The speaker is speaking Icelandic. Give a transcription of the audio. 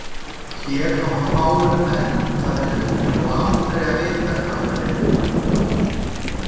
Hér hafa fáir menn farið um og aldrei að vita hvað við finnum.